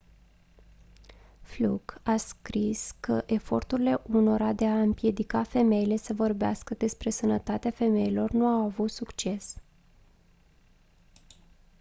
fluke a scris că eforturile unora de a împiedica femeile să vorbească despre sănătatea femeilor nu au avut succes